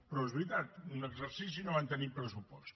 però és veritat en un exercici no van tenir pressupost